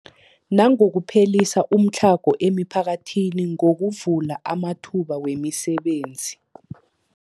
Nangokuphelisa umtlhago emiphakathini ngokuvula amathuba wemisebenzi.